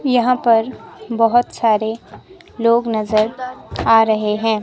यहां पर बोहोत सारे लोग नजर आ रहे हैं।